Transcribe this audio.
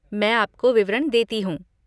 मैं आपको विवरण देती हूँ।